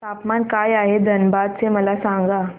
तापमान काय आहे धनबाद चे मला सांगा